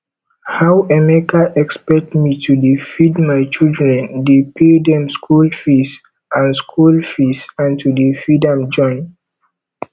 how emeka expect me to dey feed my children dey pay dem school fees and school fees and to dey feed am join